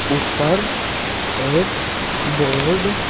ऊपर एक बोर्ड --